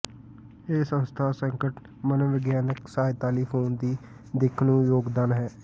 ਇਹ ਸੰਸਥਾ ਸੰਕਟ ਮਨੋਵਿਗਿਆਨਕ ਸਹਾਇਤਾ ਲਈ ਫੋਨ ਦੀ ਦਿੱਖ ਨੂੰ ਯੋਗਦਾਨ ਹੈ